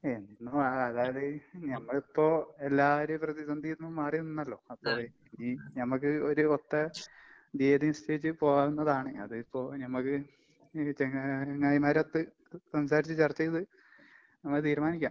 എന്നുവാകാത്. ഞമ്മളിപ്പോ എല്ലാവരും പ്രതിസന്ധീന്ന് മാറിനിന്നല്ലോ, അപ്പൊ ഈ ഞമ്മക്ക് ഒരു ഒത്ത തീയതി നിശ്ചയിച്ച് പോകാവുന്നതാണ്. അതിപ്പോ ഞമ്മക്ക് ഈ ചങ്ങാ ചങ്ങായിമാരൊത്ത് ക് സംസാരിച്ച് ചർച്ച ചെയ്ത് നമക്ക് തീരുമാനിക്കാം.